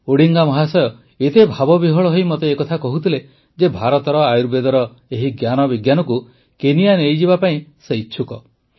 Odinga ମହାଶୟ ଏତେ ଭାବବିହ୍ୱଳ ହୋଇ ମୋତେ ଏକଥା କହୁଥିଲେ ଯେ ଭାରତର ଆୟୁର୍ବେଦର ଏହି ଜ୍ଞାନ ବିଜ୍ଞାନକୁ କେନିଆ ନେଇଯିବା ପାଇଁ ସେ ଇଚ୍ଛୁକ